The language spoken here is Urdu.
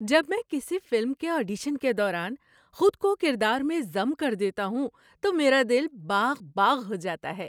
جب میں کسی فلم کے آڈیشن کے دوران خود کو کردار میں ضم کر دیتا ہوں تو میرا دل باغ باغ ہو جاتا ہے ۔